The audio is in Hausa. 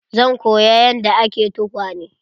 Zan koya yanda ake tukwane.